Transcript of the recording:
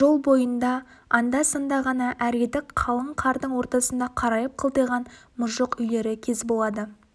жол бойында анда-санда ғана әредік қалың қардың ортасында қарайып қылтиған мұжық үйлері кез болады